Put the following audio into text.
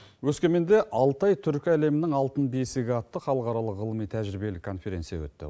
өскеменде алтай түркі әлемінің алтын бесігі атты халықаралық ғылыми тәжірибелі конференция өтті